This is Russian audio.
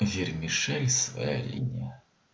вермишель своя линия